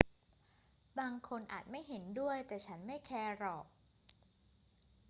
บางคนอาจไม่เห็นด้วย แต่ฉันไม่แคร์หรอก